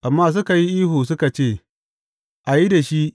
Amma suka yi ihu suka ce, A yi da shi!